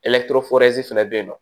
fana bɛ yen nɔ